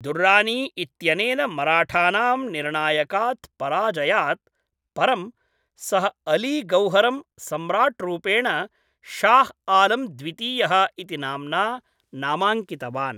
दुर्रानी इत्यनेन मराठानां निर्णायकात् पराजयात् परं, सः अली गौहरं सम्राट्रूपेण शाह् आलम् द्वितीयः इति नाम्ना नामाङ्कितवान्।